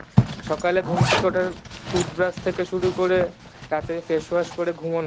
সকালে ঘুম থেকে উঠার tooth brush থেকে শুরু করে রাতে face wash করে ঘুমোনো